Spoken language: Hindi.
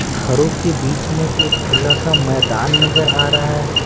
घरों के बीच में एक खुला सा मैदान नजर आ रहा है।